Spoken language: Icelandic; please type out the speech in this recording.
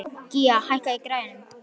Gía, hækkaðu í græjunum.